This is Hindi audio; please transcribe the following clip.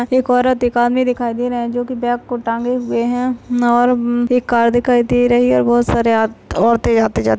एक औरत दुकान में दिखाई दे रहा है जो कि बैग को टांगे हुए हैं और अम एक कार दिखाई दे रही है और बहोत सारे आ औरतें आते-जाते --